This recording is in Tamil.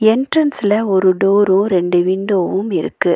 எண்ட்ரன்ஸ்ல ஒரு டோரும் ரெண்டு விண்டோவும் இருக்கு.